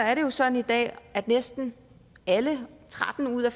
er det jo sådan i dag at næsten alle tretten ud af